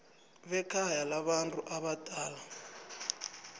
bekhaya labantu abadala